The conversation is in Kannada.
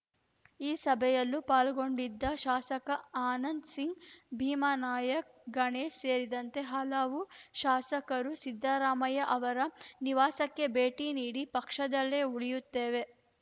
ಈ ಸಭೆಯಲ್ಲೂ ಪಾಲ್ಗೊಂಡಿದ್ದ ಶಾಸಕ ಆನಂದ್‌ ಸಿಂಗ್‌ ಭೀಮಾನಾಯಕ್‌ ಗಣೇಶ್‌ ಸೇರಿದಂತೆ ಹಲವು ಶಾಸಕರು ಸಿದ್ದರಾಮಯ್ಯ ಅವರ ನಿವಾಸಕ್ಕೆ ಭೇಟಿ ನೀಡಿ ಪಕ್ಷದಲ್ಲೇ ಉಳಿಯುತ್ತೇವೆ